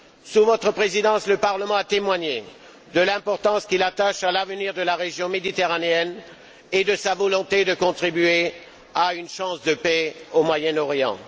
Sous votre présidence, le Parlement a témoigné de l'importance qu'il attache à l'avenir de la région méditerranéenne et de sa volonté de contribuer à une chance de paix au Moyen Orient.